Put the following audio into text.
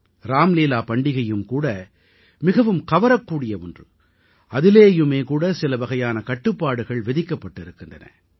ராம்லீலா பண்டிகையும் கூட மிகவும் கவரக்கூடிய ஒன்று அதிலேயுமே கூட சிலவகையான கட்டுப்பாடுகள் விதிக்கப்பட்டிருக்கின்றன